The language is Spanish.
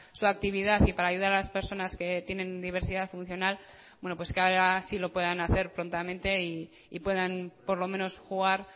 su actividad y para ayudar a las personas que tienen diversidad funcional bueno pues que ahora sí lo puedan hacer prontamente y puedan por lo menos jugar